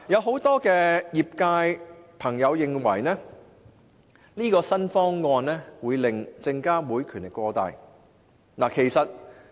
很多業界人士認為，新方案會令證監會權力過大。